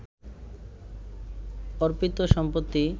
অর্পিত সম্পত্তি